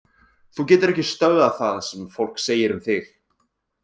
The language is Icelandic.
Þú getur ekki stöðvað það sem fólk segir um þig.